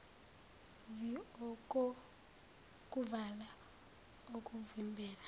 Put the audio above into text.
vii okokuvala okuvimbela